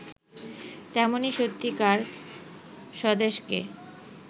তেমনি সত্যিকার স্বদেশকে